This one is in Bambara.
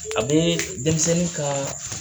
A bun denmisɛnnin ka